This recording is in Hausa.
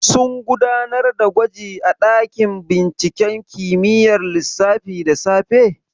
Sun gudanar da gwaji a ɗakin binciken kimiyyar lissafi da safe?